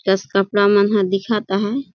कस कपड़ा मन ह दिखत आहे।